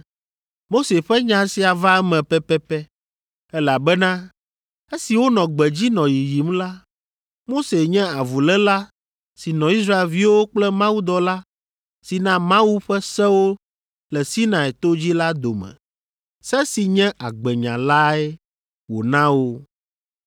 Mose ƒe nya sia va eme pɛpɛpɛ elabena esi wonɔ gbedzi nɔ yiyim la, Mose nye avuléla si nɔ Israelviwo kple mawudɔla si na Mawu ƒe sewo le Sinai to dzi la dome. Se si nye Agbenya lae wòna wo.